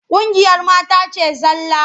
Ƙungiyar mata ce zalla.